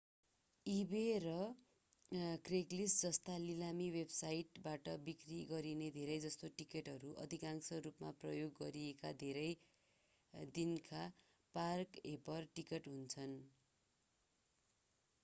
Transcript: इबे वा क्रेगलिस्ट जस्ता लिलामी वेबसाइटबाट बिक्री गरिने धेरैजसो टिकटहरू आंशिक रूपमा प्रयोग गरिएका धेरै दिनका पार्क-होपर टिकट हुन्छन्